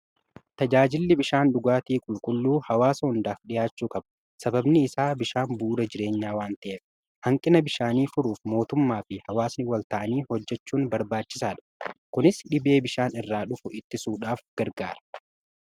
tajaajilli bishaan dhugaatii qulqulluu hawaasa hundaaf dhihaachuu kabu sababni isaa bishaan buura jireenyaa waan ta'eef hanqina bishaanii furuuf mootummaa fi hawaasni wal ta'anii hojjechuun barbaachisaa dha kunis dhibee bishaan irraa dhufu itti suudhaaf gargaara